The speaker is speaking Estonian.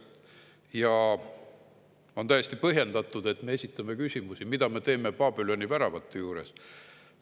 Ja on täiesti põhjendatud, et me esitame küsimusi, mida me teeme Babüloni väravate juures.